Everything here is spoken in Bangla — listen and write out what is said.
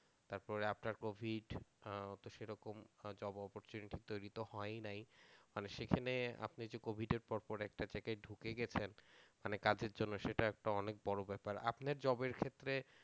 তারপরে after covid ওতো সেরকম job opportunity তৈরি তো হয়নি মানে সেখানে আপনি যে covid পর পর একটা জায়গায় ঢুকে গেছেন মানে কাজের জন্য সেটা একটা অনেক বড় ব্যাপার। আপনার job এর ক্ষেত্রে